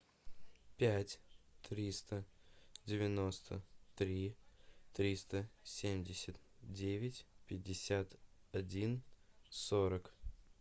пять триста девяносто три триста семьдесят девять пятьдесят один сорок